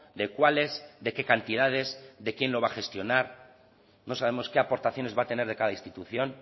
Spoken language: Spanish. de cuáles de qué cantidades de quién lo va a gestionar no sabemos qué aportaciones va a tener de cada institución